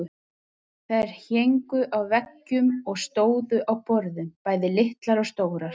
Þær héngu á veggjum og stóðu á borðum, bæði litlar og stórar.